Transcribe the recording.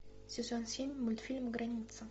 сезон семь мультфильм граница